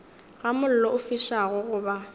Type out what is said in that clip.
ga mollo o fišago goba